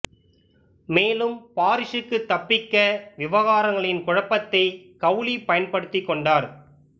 மேலும் பாரிஸுக்கு தப்பிக்க விவகாரங்களின் குழப்பத்தை கௌலி பயன்படுத்திக் கொண்டார்